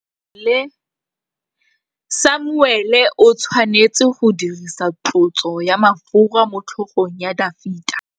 Samuele o tshwanetse go dirisa tlotsô ya mafura motlhôgong ya Dafita.